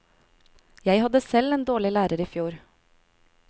Jeg hadde selv en dårlig lærer i fjor.